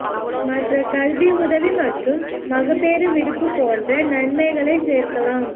மற்ற கல்வி உதவி மற்றும் மகப்பேறு விடுப்பு போன்ற நன்மைகளை சேர்க்கலாம்